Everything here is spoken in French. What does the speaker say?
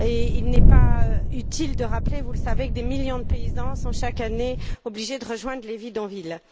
Il n'est pas utile de rappeler, vous le savez, que des millions de paysans sont chaque année obligés de rejoindre les bidonvilles.